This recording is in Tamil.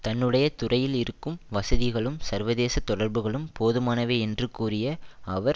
தன்னுடைய துறையில் இருக்கும் வசதிகளும் சர்வதேச தொடர்புகளும் போதுமானவை என்று கூறிய அவர்